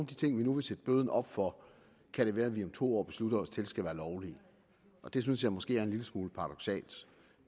de ting vi nu vil sætte bøden op for kan det være vi om to år beslutter os til skal være lovlige og det synes jeg måske er en lille smule paradoksalt